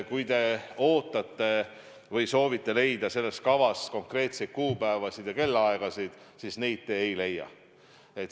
Kui te ootate või soovite leida selles kavas konkreetseid kuupäevasid ja kellaaegasid, siis neid te ei leia.